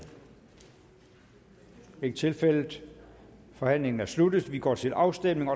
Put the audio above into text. ikke tilfældet forhandlingen er sluttet og vi går til afstemning